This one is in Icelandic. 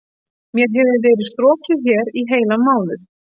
Mér hefur verið strokið hér í heilan mánuð.